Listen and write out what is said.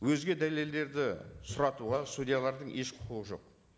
өзге дәлелдерді сұратуға судьялардың еш құқығы жоқ